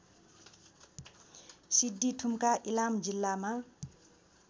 सिद्धिथुम्का इलाम जिल्लामा